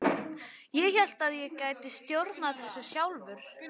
Ég hélt að ég gæti stjórnað þessu sjálfur.